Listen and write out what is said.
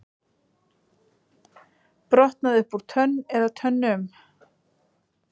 Brotnaði upp úr tönn eða tönnum